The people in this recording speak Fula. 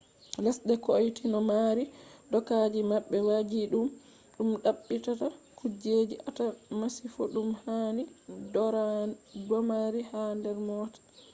lesde kotoi no mari dokaji mabbe wajjididum dum dabbitata kujjeji atata masifo dum handi domari ha der moota